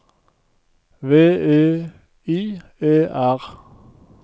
V E I E R